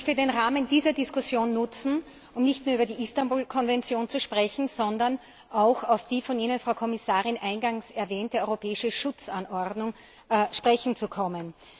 Ich möchte den Rahmen dieser Diskussion nutzen, um nicht nur über die Istanbul Konvention zu sprechen, sondern auch auf die von Ihnen, Frau Kommissarin, eingangs erwähnte europäische Schutzanordnung zu sprechen kommen.